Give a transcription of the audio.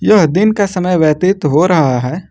यह दिन का समय व्यतीत हो रहा है।